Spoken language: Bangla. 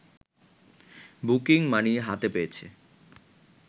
বুকিং মানি হাতে পেয়েছে